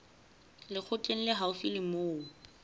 lekgotleng le haufi le moo